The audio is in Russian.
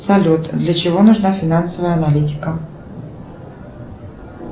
салют для чего нужна финансовая аналитика